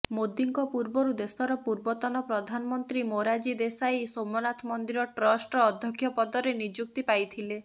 ମୋଦିଙ୍କ ପୂର୍ବରୁ ଦେଶର ପୂର୍ବତନ ପ୍ରଧାନମନ୍ତ୍ରୀ ମୋରାଜୀ ଦେଶାଇ ସୋମନାଥ ମନ୍ଦିର ଟ୍ରଷ୍ଟର ଅଧ୍ୟକ୍ଷ ପଦରେ ନିଯୁକ୍ତି ପାଇଥିଲେ